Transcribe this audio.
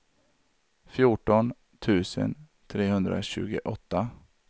fjorton tusen trehundratjugoåtta